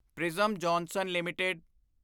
prism Johnson LTD